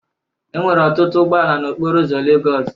Enwere ọtụtụ ụgbọ ala n'okporo ụzọ Lagos